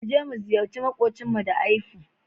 Mu je mu ziyarci maƙwabcinmu da aifu.